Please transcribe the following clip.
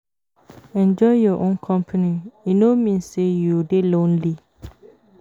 Enjoy your own company, e no mean say you dey lonely.